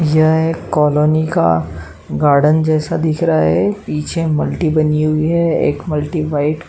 यह एक कॉलोनी का गार्डन जैसा दिख रहा है। पीछे मल्टी बनी हुई है। एक मल्टी व्हाइट --